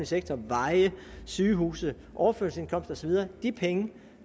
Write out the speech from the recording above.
sektor veje sygehuse overførselsindkomst og så videre de penge